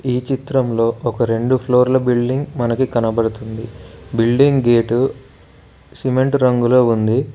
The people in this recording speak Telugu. ఈ చిత్రంలో ఒక రెండు ఫ్లోర్ల బిల్డింగ్ మనకి కనబడుతుంది బిల్డింగ్ గేటు సిమెంటు రంగులో ఉంది.